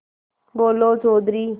बोलो चौधरी